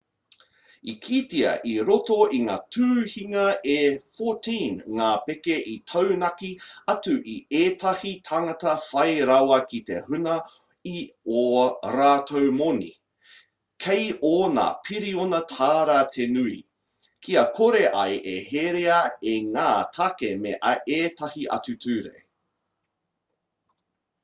i kitea i roto i ngā tuhinga e 14 ngā pēke i taunaki atu i ētahi tāngata whai rawa ki te huna i ō rātou moni kei ōna piriona tāra te nui kia kore ai e herea e ngā tāke me ētahi atu ture